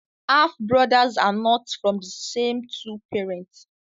Half brother are not from the same two parents